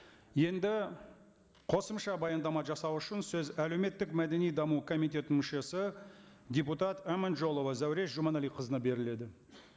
енді қосымша баяндама жасау үшін сөз әлеуметтік мәдени даму комитетінің мүшесі депутат аманжолова зәуреш жұманәліқызына беріледі